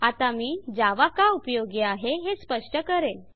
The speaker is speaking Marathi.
आता मी जावा का उपयोगी आहे हे स्पष्ट करेल